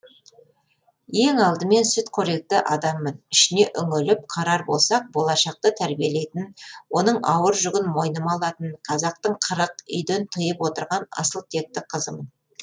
ең алдымен сүтқоректі адаммын ішіне үңіліп қарар болсақ болашақты тәрбиелейтін оның ауыр жүгін мойныма алатын қазақтың қырық үйден тыйып отырған асыл текті қызымын